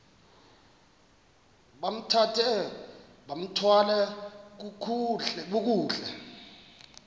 bambathe bathwale kakuhle